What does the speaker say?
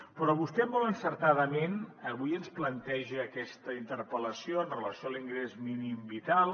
però vostè molt encertadament avui ens planteja aquesta interpel·lació amb relació a l’ingrés mínim vital